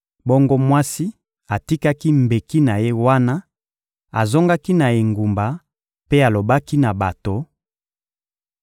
Bongo mwasi atikaki mbeki na ye wana, azongaki na engumba mpe alobaki na bato: